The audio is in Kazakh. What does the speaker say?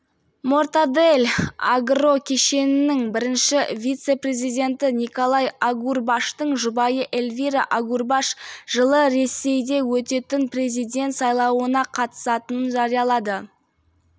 мортадель агрокешенінің бірінші вице-президенті николай агурбаштың жұбайы эльвира агурбаш жылы ресейде өтетін президент сайлауына қатысатынын жариялады